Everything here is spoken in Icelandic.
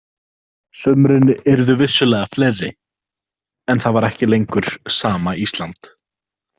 Sumrin yrðu vissulega fleiri, en það var ekki lengur sama Ísland.